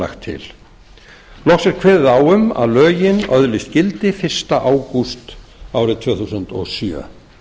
lagt loks er kveðið á um að lögin öðlist gildi fyrsta ágúst árið tvö þúsund og sjö